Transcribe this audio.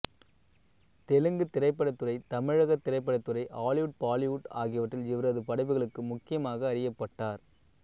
தெலுங்குத் திரைப்படத்துறை தமிழகத் திரைப்படத்துறை ஹாலிவுட் பாலிவுட் ஆகியவற்றில் இவரது படைப்புகளுக்கு முக்கியமாக அறியப்பட்டவர்